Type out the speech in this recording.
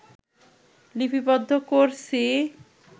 লিপিবদ্ধ করছি